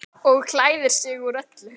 Og klæðir sig úr öllu!